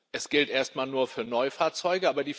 Es gilt erstmal nur für Neufahrzeuge.